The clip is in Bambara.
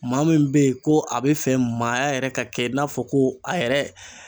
Maa min bɛ yen ko a bɛ fɛ maaya yɛrɛ ka kɛ i n'a fɔ ko a yɛrɛ.